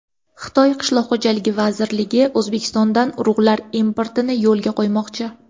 Xitoy qishloq xo‘jaligi vazirligi O‘zbekistondan urug‘lar importini yo‘lga qo‘ymoqchi.